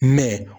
Mɛ